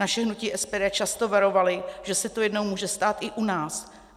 Naše hnutí SPD často varovalo, že se to jednou může stát i u nás.